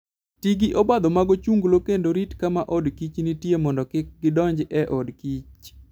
Ti gi obadho mag ochunglo kendo rit kama od kich nitie mondo kik gidonj e od kich.